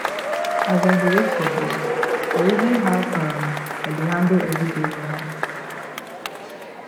as i dey wait for bus i reason how um i dey handle everyday wahala